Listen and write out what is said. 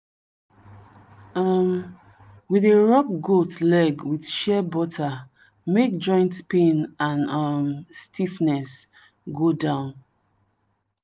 um we dey rub goat leg with shea butter make joint pain and um stiffness go down.